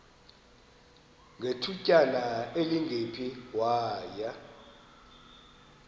ngethutyana elingephi waya